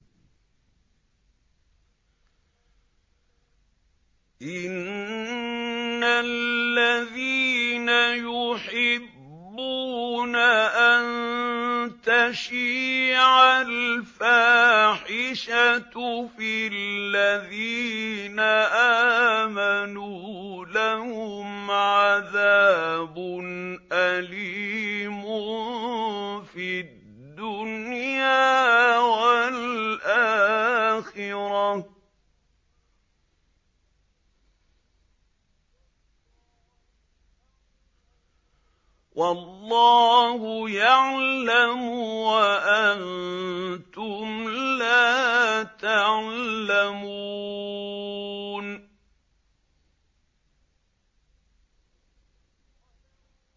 إِنَّ الَّذِينَ يُحِبُّونَ أَن تَشِيعَ الْفَاحِشَةُ فِي الَّذِينَ آمَنُوا لَهُمْ عَذَابٌ أَلِيمٌ فِي الدُّنْيَا وَالْآخِرَةِ ۚ وَاللَّهُ يَعْلَمُ وَأَنتُمْ لَا تَعْلَمُونَ